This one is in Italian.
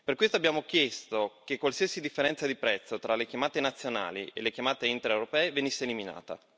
Per questo abbiamo chiesto che qualsiasi differenza di prezzo tra le chiamate nazionali e le chiamate intraeuropee venisse eliminata.